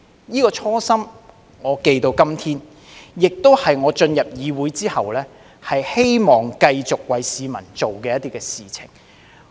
這個初心，我記到今天，亦是我進入議會後希望繼續為市民做的事情。